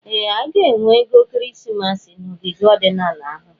Ee! A ga-enwe ego ekeresimesi n'ogige ọdịnala ahụ.